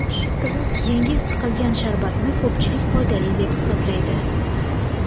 Yangi siqilgan sharbatni ko‘pchilik foydali deb hisoblaydi.